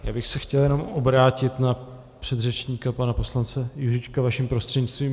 Já bych se chtěl jen obrátit na předřečníka pana poslance Juříčka vaším prostřednictvím.